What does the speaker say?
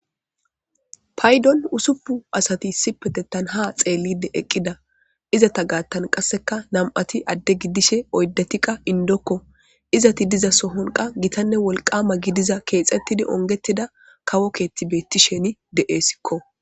Payddon uusupun asati issipetetan ha xeellide eqqida izata gaattan qasseka nam'ati adde giddishin oydati qa indokko izeti diza sohon qa gitanne wolqama gidiza keexettidi ongetida kawo keetti beettishe de'essikko